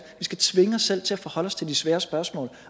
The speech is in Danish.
vi skal tvinge os selv til at forholde os til de svære spørgsmål